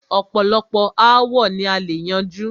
ọ̀pọ̀lọpọ̀ aàwo ni a lè yanjú.